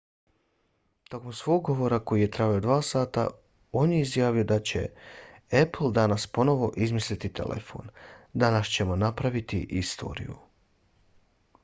tokom svog govora koji je trajao 2 sata on je izjavio da će apple danas ponovo izmisliti telefon. danas ćemo napraviti istoriju.